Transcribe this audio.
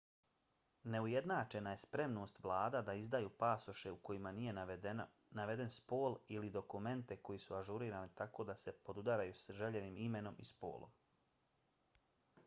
neujednačena je spremnost vlada da izdaju pasoše u kojima nije naveden spol x ili dokumente koji su ažurirani tako da se podudaraju sa željenim imenom i spolom